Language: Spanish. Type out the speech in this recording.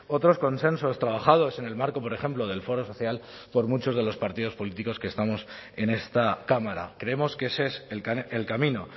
otros consensos trabajados en el marco por ejemplo del foro social por muchos de los partidos políticos que estamos en esta cámara creemos que ese es el camino